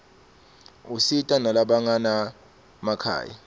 usita nalabanganamakhaya